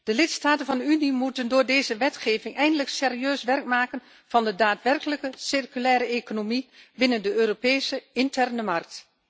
De lidstaten van de Unie moeten door deze wetgeving eindelijk serieus werk maken van de daadwerkelijke circulaire economie binnen de Europese interne markt.